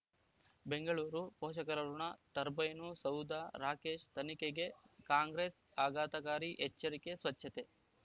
ಬೆಂಗಳೂರು ಪೋಷಕರಋಣ ಟರ್ಬೈನು ಸೌಧ ರಾಕೇಶ್ ತನಿಖೆಗೆ ಕಾಂಗ್ರೆಸ್ ಆಘಾತಕಾರಿ ಎಚ್ಚರಿಕೆ ಸ್ವಚ್ಛತೆ